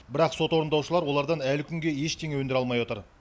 бірақ сот орындаушылар олардан әлі күнге ештеңе өндіре алмай отыр